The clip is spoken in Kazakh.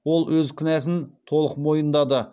ол өз кінәсін толық мойындады